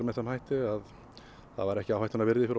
með þeim hætti að það væri ekki áhættunnar virði fyrir